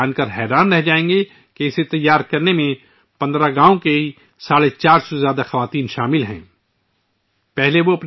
آپ کو یہ جان کر حیرانی ہوگی کہ 15 گاؤوں کی 450 سے زائد خواتین ، ان کی بنائی میں شامل ہیں